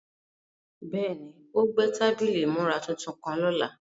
Bẹ́ẹ̀ni, o gbẹ̀ tabílí ìmúrà tuntun kan lọ́lá.